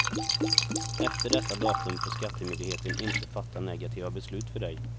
Efter detta datum får skattemyndigheten inte fatta negativa beslut för dig.